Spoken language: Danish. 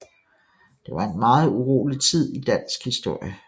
Det var en meget urolig tid i dansk historie